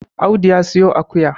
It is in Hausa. Audu ya siyo akuya